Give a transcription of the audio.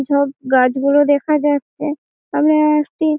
সব গাছগুলো দেখা যাচ্ছে। ওখানে একটি--